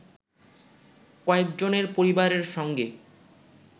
কয়েকজনের পরিবারের সঙ্গে